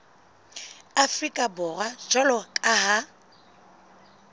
afrika borwa jwalo ka ha